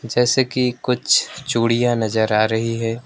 जैसे कि कुछ चूड़ियां नजर आ रही है।